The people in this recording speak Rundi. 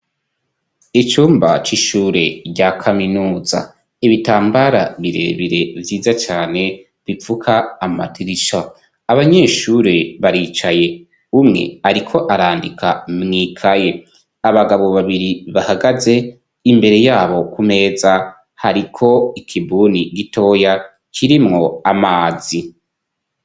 Icumba c'ishure rya kaminuza, ibitambara birebire vyiza cane bipfuka amadirisha, abanyeshuri baricaye umwe ariko arandika mw'ikaye, abagabo babiri bahagaze, imbere yabo ku meza hariko ikibuni gitoya kirimwo amazi.